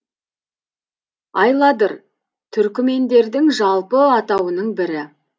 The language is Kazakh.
айладыр түркмендердің жалпы атауының бірі